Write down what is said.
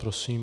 Prosím.